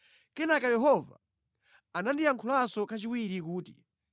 Kenaka Yehova anandiyankhulanso kachiwiri kuti,